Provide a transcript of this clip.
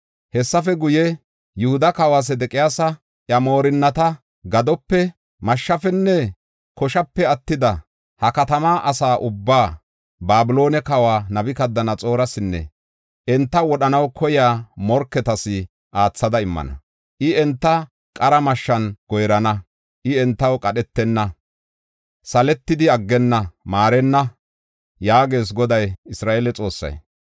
Hessafe guye, Yihuda kawa Sedeqiyaasa, iya moorinnata, gadope, mashshafenne koshape attida, ha katama asa ubbaa, Babiloone kawa Nabukadanaxoorasinne enta wodhanaw koyiya morketas aathada immana. I enta qara mashshan goyrana. I entaw qadhetenna; saletidi aggenna; maarenna’ ” yaagees Goday Isra7eele Xoossay.